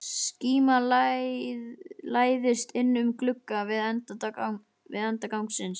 Skíma læðist inn um glugga við enda gangsins.